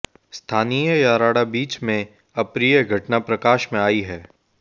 स्थानीय याराडा बीच में अप्रिय घटना प्रकाश में आई है